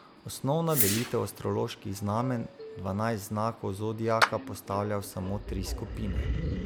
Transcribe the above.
Osnovna delitev astroloških znamenj dvanajst znakov zodiaka postavlja v samo tri skupine.